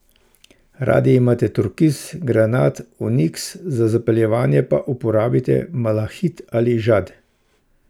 Radi imate turkiz, granat, oniks, za zapeljevanje pa uporabite malahit ali žad.